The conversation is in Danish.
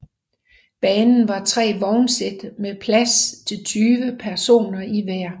Banen har tre vognsæt med plads til 20 personer i hver